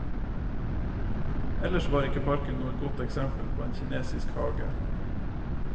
Ellers var ikke parken noe godt eksempel på en kinesisk hage.